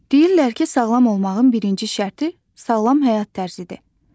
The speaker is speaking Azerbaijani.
Deyirlər ki, sağlam olmağın birinci şərti sağlam həyat tərzidir.